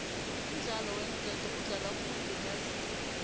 umdlalo weenketo udlalwa khulu bentazana